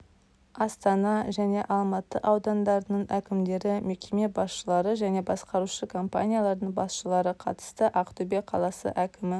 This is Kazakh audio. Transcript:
астана және алматы аудандарының әкімдері мекеме басшылары және басқарушы компаниялардың басшылары қатысты ақтөбе қаласы әкімі